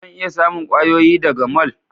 Zan iya samun kwayoyi daga mall?